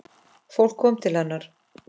Fólk kom til hennar.